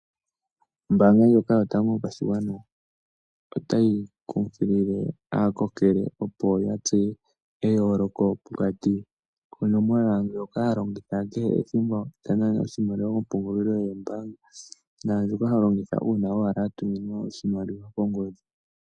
Ombaanga ndjoka yotango yopashigwana otayi kunkilile aakokele opo ya tseye eyooloko pokati konomola ndjoka holongitha ngele to nana oshimaliwa kompungulilo yomoombaanga naandjoka ho longitha uuna owala wa tuminwa oshimaliwa kongodhi.